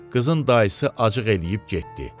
qızın dayısı acıq eləyib getdi.